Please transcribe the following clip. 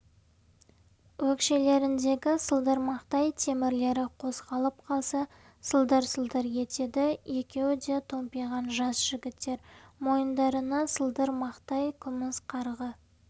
өкшелеріндегі сылдырмақтай темірлері қозғалып қалса сылдыр-сылдыр етеді екеуі де томпиған жас жігіттер мойындарына сылдырмақтай күміс қарғы